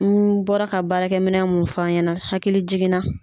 N bɔra ka baarakɛ minɛ mun f'a ɲɛna hakili jiginna.